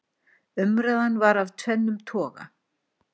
umræðan var af tvennum toga